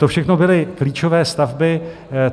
To všechno byly klíčové stavby.